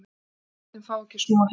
Forsetinn fái ekki að snúa heim